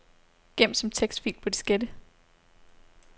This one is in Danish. Gem som tekstfil på diskette.